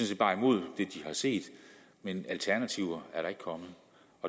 set bare imod det de har set men alternativer er der ikke kommet